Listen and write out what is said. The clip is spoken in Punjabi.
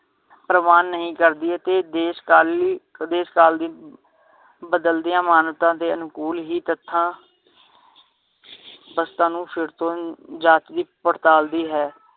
ਪ੍ਰਵਾਨ ਨਹੀ ਕਰਦੀ ਏ ਤੇ ਦੇਸ਼ ਕਾਲ ਲਈ ਦੇਸ਼ ਕਾਲ ਦੀ ਬਦਲਦਿਆਂ ਮਾਨਤਾ ਦੇ ਅਨੁਕੂਲ ਹੀ ਤਥਾਂ ਨੂੰ ਫਿਰ ਤੋਂ ਹੀ ਜਾਤਵਿਕ ਪੜਤਾਲ ਦੀ ਹੈ